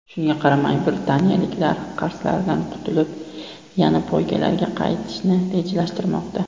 Shunga qaramay britaniyaliklar qarzlaridan qutulib, yana poygalarga qaytishni rejalashtirmoqda.